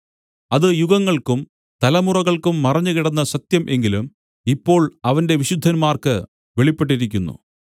അത് യുഗങ്ങൾക്കും തലമുറകൾക്കും മറഞ്ഞുകിടന്ന സത്യം എങ്കിലും ഇപ്പോൾ അവന്റെ വിശുദ്ധന്മാർക്ക് വെളിപ്പെട്ടിരിക്കുന്നു